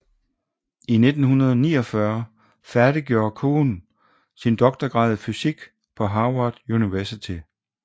I 1949 færdiggjorde Kuhn sin doktorgrad i fysik på Harvard University